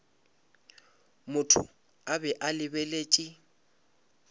motho a be a lebeletše